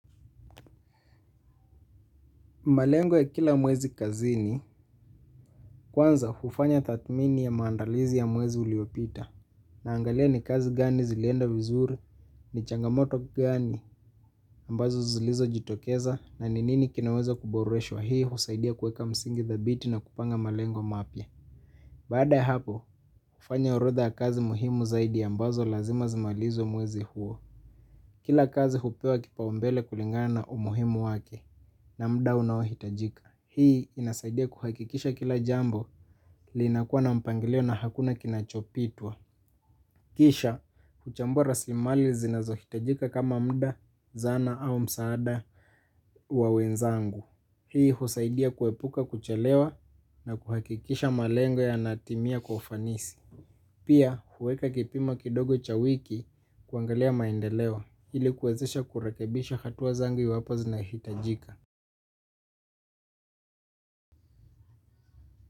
Malengo ya kila mwezi kazini, kwanza hufanya tathmini ya maandalizi ya mwezi uliopita, naangalia ni kazi gani zilienda vizuri, ni changamoto gani, ambazo zilizojitokeza, na ni nini kinaweza kuboreshwa hii husaidia kuweka msingi thabiti na kupanga malengo mapya. Baada ya hapo, hufanya orodha kazi muhimu zaidi ambazo lazima zimalizwe mwezi huo. Kila kazi hupewa kipaumbele kulingana umuhimu wake na muda unaohitajika. Hii inasaidia kuhakikisha kila jambo linakua na mpangilio na hakuna kinachopitwa. Kisha, kuchambua rasilimali zinazohitajika kama muda, zana au msaada wa wenzangu. Hii husaidia kuepuka kuchelewa na kuhakikisha malengo yanatimia kwa ufanisi. Pia huweka kipimo kidogo cha wiki kuangalia maendeleo ilikuwezesha kurekebisha hatua zangu iwapo zinahitajika.